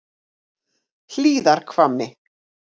Hlíðarhvammi